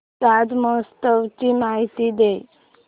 ताज महोत्सव ची माहिती दे